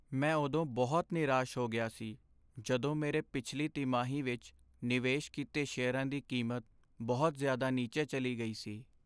ਮੈਂ ਉਦੋਂ ਬਹੁਤ ਨਿਰਾਸ਼ ਹੋ ਗਿਆ ਸੀ ਜਦੋਂ ਮੇਰੇ ਪਿਛਲੀ ਤਿਮਾਹੀ ਵਿੱਚ ਨਿਵੇਸ਼ ਕੀਤੇ ਸ਼ੇਅਰਾਂ ਦੀ ਕੀਮਤ ਬਹੁਤ ਜ਼ਿਆਦਾ ਨੀਚੇ ਚਲੀ ਗਈ ਸੀ।